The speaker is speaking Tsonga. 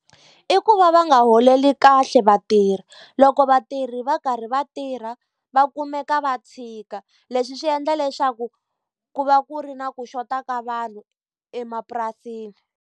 I ku va va nga holeli kahle vatirhi. Loko vatirhi va karhi va tirha, va kumeka va tshika. Leswi swi endla leswaku ku va ku ri na ku xota ka vanhu emapurasini.